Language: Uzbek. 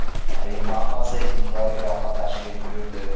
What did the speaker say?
Rim Papasi ilk bor Iroqqa tashrif buyurdi.